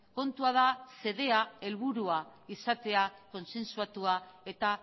kontua da xedea helburua izatea kontsensuatua eta